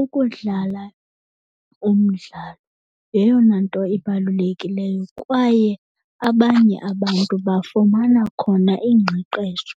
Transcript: Ukudlala umdlalo yeyona nto ibalulekileyo kwaye abanye abantu bafumana khona iingqeqesho